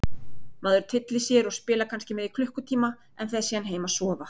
Maður tyllir sér og spilar kannski með í klukkutíma en fer síðan heim að sofa.